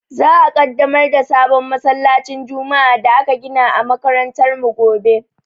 Za a Ƙaddamar da sabon masallacin juma'a da aka gina a makarantar mu gobe.